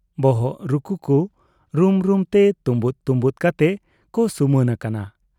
ᱵᱚᱦᱚᱜ ᱨᱩᱠᱩ ᱠᱚ ᱨᱩᱢ ᱨᱩᱢ ᱛᱮ ᱛᱩᱢᱵᱩᱫ ᱛᱩᱢᱵᱩᱫ ᱠᱟᱛᱮ ᱠᱚ ᱥᱩᱢᱟᱹᱱ ᱟᱠᱟᱱᱟ ᱾